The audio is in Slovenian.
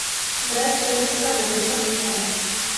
Brez spremstva ne boš šla nikamor.